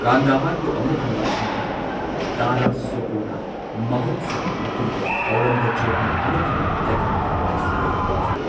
ꯀꯥꯟꯗꯥꯍꯔꯕꯨ ꯑꯃꯨꯛ ꯍꯟꯅ ꯂꯧꯁꯤꯟꯅꯕ ꯍꯣꯠꯅꯕꯗ ꯗꯥꯔꯥ ꯁꯨꯀꯣꯅ ꯃꯍꯨꯠ ꯁꯤꯜꯂꯕ ꯃꯇꯨꯡꯗ ꯑꯧꯔꯪꯒꯖꯦꯕꯅ ꯑꯃꯨꯛ ꯍꯟꯅ ꯗꯦꯛꯀꯥꯟꯒꯤ ꯚꯥꯏꯁꯔꯣꯏ ꯑꯣꯏꯈꯤ꯫